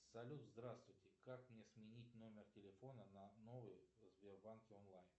салют здравствуйте как мне сменить номер телефона на новый в сбербанке онлайн